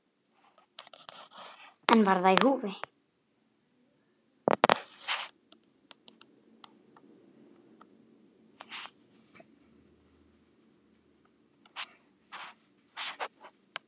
En var það í húfi?